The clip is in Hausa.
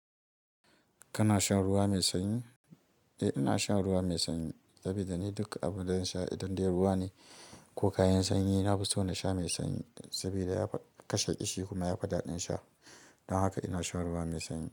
Kana shan ruwa mai sanyi? Eh, ina shan ruwa mai sanyi saboda ni duk abun da in sha idan dai ruwa ne ko kayan sanyi, na fi so na sha mai sanyi saboda yafi kashe ƙishi kuma ya fi daɗin sha. Don haka ina shan ruwa mai sanyi.